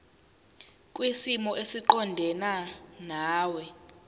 kwisimo esiqondena nawe